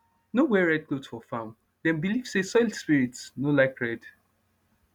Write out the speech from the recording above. no wear red cloth for farm dem believe say soil spirits no like red